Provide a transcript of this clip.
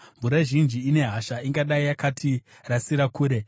mvura zhinji ine hasha ingadai yakatirasira kure.